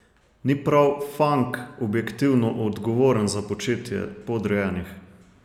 Ni prav Fank objektivno odgovoren za početje podrejenih?